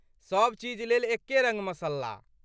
सब चीज लेल एक्के रङ्ग मसल्ला।